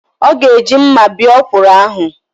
Ọ ga-eji mma bee ọkwụrụ ahụ.